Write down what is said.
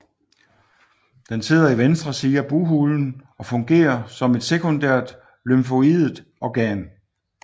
Den sidder i venstre side af bughulen og fungerer som et sekundært lymfoidt organ